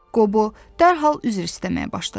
Qobo dərhal üzr istəməyə başladı.